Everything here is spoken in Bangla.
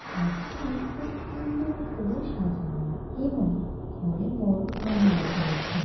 ঘরটি খুব সুন্দর করে সাজানো এবং ঘরে বড় আলোও জ্বলছে।